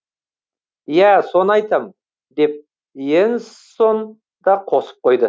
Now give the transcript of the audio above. ия соны айтам деп и енссон да қосып қойды